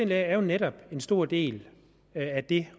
læger jo netop er en stor del af det